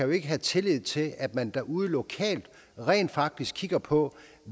jo ikke have tillid til at man derude lokalt rent faktisk kigger på